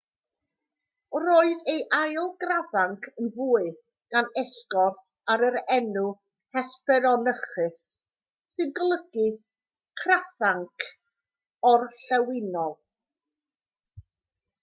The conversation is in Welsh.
roedd ei ail grafanc yn fwy gan esgor ar yr enw hesperonychus sy'n golygu crafanc orllewinol